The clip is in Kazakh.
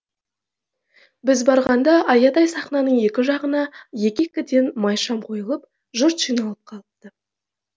біз барғанда аядай сахнаның екі жағына екі екіден май шам қойылып жұрт жиналып қалыпты